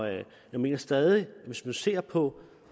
jeg mener stadig at hvis man ser på